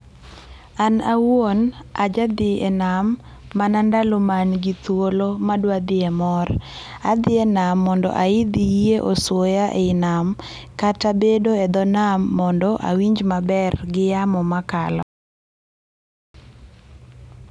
An awuon aja dhi e nam mana ndalo ma an gi thuolo madwa dhie mor, adhi e nam mondo aidh yie osuoya ei nam kata bedo e dho nam mondo awinj maber gi yamo makalo